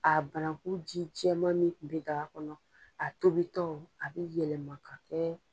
A bananku ji cɛman min tun be daga kɔnɔ, a tobi tɔ a bi yɛlɛma kɛ